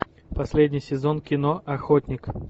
последний сезон кино охотник